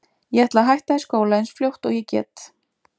Ég ætla að hætta í skóla eins fljótt og ég get.